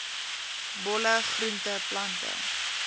bolle groente plante